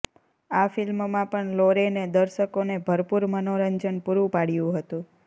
આ ફિલ્મમાં પણ લોરેને દર્શકોને ભરપુર મનોરંજન પૂરૂ પાડ્યુ હતુ